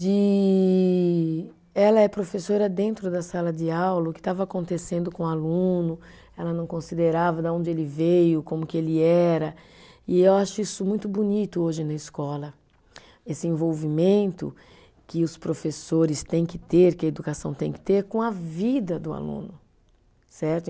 De ela é professora dentro da sala de aula, o que estava acontecendo com o aluno, ela não considerava de onde ele veio, como que ele era, e eu acho isso muito bonito hoje na escola, esse envolvimento que os professores têm que ter, que a educação tem que ter com a vida do aluno, certo?